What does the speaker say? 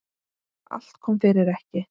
Allt kom fyrir ekki.